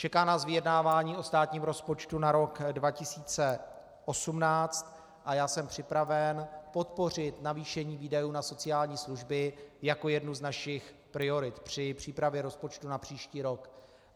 Čeká nás vyjednávání o státním rozpočtu na rok 2018 a já jsem připraven podpořit navýšení výdajů na sociální služby jako jednu z našich priorit při přípravě rozpočtu na příští rok.